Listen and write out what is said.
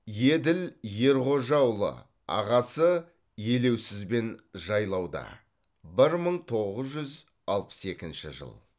еділ ерғожаұлы ағасы елеусізбен жайлауда бір мың тоғыз жүз алпыс екінші жыл